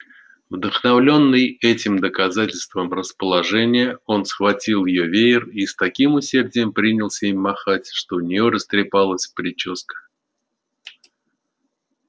вдохновлённый этим доказательством расположения он схватил её веер и с таким усердием принялся им махать что у неё растрепалась причёска